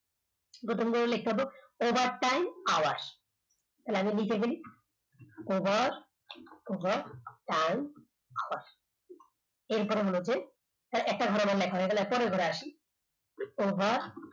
প্রথমটা লিখতে হবে overtime hours আমি লিখে ফেলি over overtime hours এরপর হল গিয়ে একটা ঘরে আমার লেখা হয়ে গেল পরের ঘরে আসি over